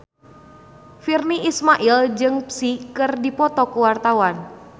Virnie Ismail jeung Psy keur dipoto ku wartawan